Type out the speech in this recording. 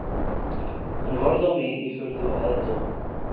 Hann horfði á mig í furðu og aðdáun